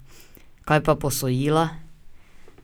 Kaj pa posojila?